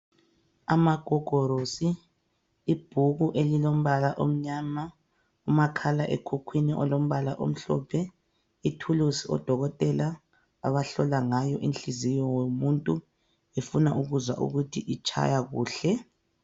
Amagogorosi, ibhuku elilombala omnyama, umakhala ekhukhwini olombala omhlophe, ithuluzi oDokotela abahlola ngayo inhliziyo yomuntu befuna ukuzwa ukuthi itshaya kuhle.